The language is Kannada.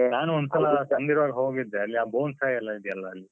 ನಾನು ಒಂದ್ಸಲ ಅಲ್ಲಿರುವಾಗ ಹೋಗಿದ್ದೆ ಅಲ್ಲಿ bonsai ಎಲ್ಲ ಇದ್ಯಲ್ಲ ಅಲ್ಲಿ.